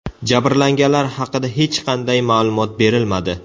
Jabrlanganlar haqida hech qanday ma’lumot berilmadi.